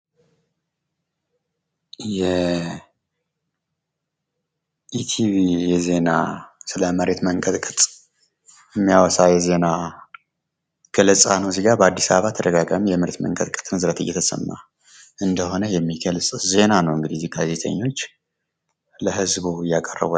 የኢቲቪ ዜና ስለ መሬት መንቀጥቀጥ የሚያወሳ የዜና ገለጻ ነው። እዚጋ በአድስ አበባ ተደጋጋሚ የመሬት መንቀጥቀጥ በብዛት እየተሰማ እንደሆነ የሚገልጽ ዜና ነው። እንግድህ እዚህ ጋዜጠኞች ለህዝቡ እያቀረቡ ያሉት።